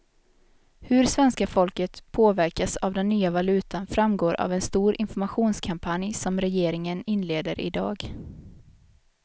Hur svenska folket påverkas av den nya valutan framgår av en stor informationskampanj som regeringen inleder i dag.